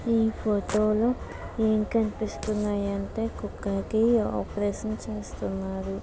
ఈ ఫోటోలో ఏం కనిపిస్తున్నాయి అంటే కుక్కకి ఆపరేషన్ చేస్తున్నారు.